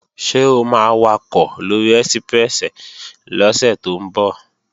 Ṣé o máa wakọ̀ lóri ẹ́síprẹ́sì lọ́sẹ̀ tó ń bọ̀?